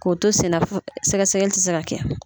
K'o to senna sɛgɛsɛgɛli ti se ka kɛ.